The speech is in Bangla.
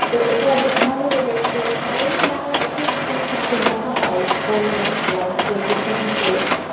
তো ওটাও নুহাস হুমায়ুন এর একটা তো ওটাও বেশ ভালো লেগেছে আর এমনি বাংলা একক অনেক নাটক দেখা হয় phone এ plus হয়েছে TV তে